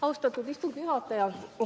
Austatud istungi juhataja!